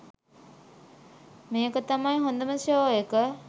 මේක තමයි හොදම ෂෝ එක